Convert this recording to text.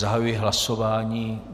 Zahajuji hlasování.